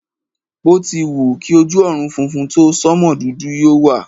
Bí o ti wù kí ojú ọ̀run funfun tó, sánmò dúdú yóò wà.